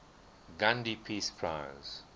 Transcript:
gandhi peace prize